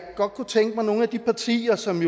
godt kunne tænke mig at de partier som